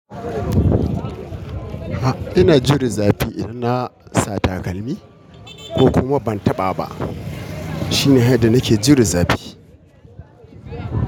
A'a ina jiran zafi idan na sa takalmi ko kuma ban taɓa ba shine dai yadda nake jiran zafi.